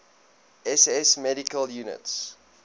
ss medical units